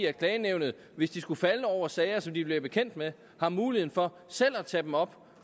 at klagenævnet hvis de skulle falde over sager som de bliver bekendt med har muligheden for selv at tage dem op